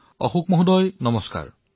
অশোক ডাঙৰীয়া নমস্কাৰ